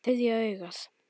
Þriðja augað.